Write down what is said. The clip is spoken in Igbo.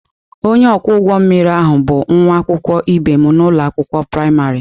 Onye ọkwọ ụgbọ mmiri ahụ bụ nwa akwụkwọ ibe m n'ụlọ akwụkwọ praịmarị.